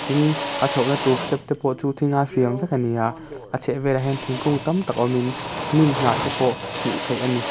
tin a chhohna tur step te pawh chu thing a siam vek ani a a chhehvelah hian thingkung tam tak awmin hnim hnah te pawh hmuh theih ani.